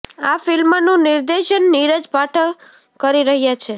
આ ફિલ્મનું નિર્દેશન નીરજ પાઠક કરી રહ્યા છે